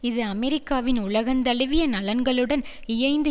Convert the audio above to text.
இது அமெரிக்காவின் உலகந்தழுவிய நலன்களுடன் இயைந்து